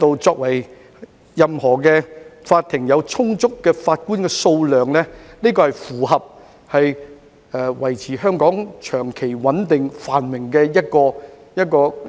只要法庭的法官數量充足，便會符合維持香港長期穩定繁榮的論調及原則。